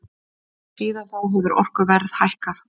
Síðan þá hefur orkuverð hækkað.